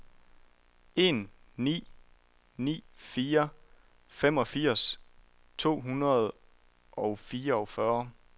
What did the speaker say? en ni ni fire femogfirs to hundrede og fireogfyrre